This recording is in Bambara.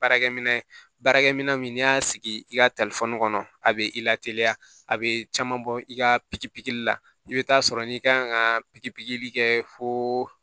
Baarakɛ minɛ baarakɛminɛn min n'i y'a sigi i ka kɔnɔ a bɛ i lateliya a bɛ caman bɔ i ka pipppkiri la i bɛ taa sɔrɔ n'i kan ka pikiri pikiri kɛ fooo